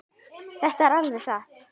Þetta er alveg satt.